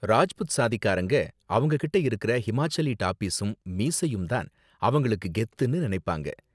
ராஜ்புத் சாதிக்காரங்க அவங்க கிட்ட இருக்கற ஹிமாச்சலி டாபிஸும் மீசையும் தான் அவங்களுக்கு கெத்துனு நினைப்பாங்க.